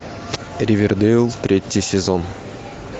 ривердейл третий сезон